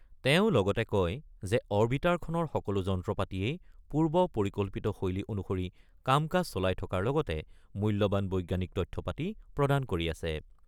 তেওঁ লগতে কয় যে অবিৰ্টাৰখনৰ সকলো যন্ত্ৰপাতিয়েই পূৰ্ব পৰিকল্পিতশৈলী অনুসৰি কাম-কাজ চলাই থকাৰ লগতে মূল্যবান বৈজ্ঞানিক তথ্যপাতি প্ৰদান কৰি আছে।